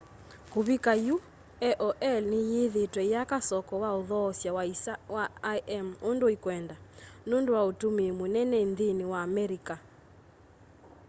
kuvika yu aol ni yithiitwe iyaka soko wa uthoosya wa isa wa im undu ikwenda nundu wa utumii munene nthini wa america